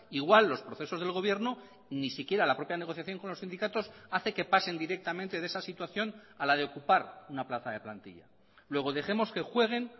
igual los procesos del gobierno ni siquiera la propia negociación con los sindicatos hace que pasen directamente de esa situación a la de ocupar una plaza de plantilla luego dejemos que jueguen